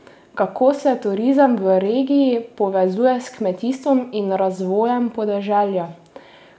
Kako se turizem v regiji povezuje s kmetijstvom in razvojem podeželja?